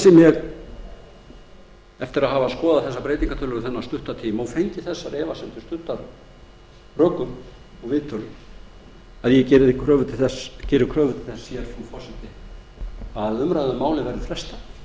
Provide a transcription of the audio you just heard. geri ég kröfu til þess frú forseti eftir að hafa skoðað breytingartillögurnar þennan stutta tíma og fengið þessar efasemdir studdar rökum og viðtölum að umræðu um málið verði frestað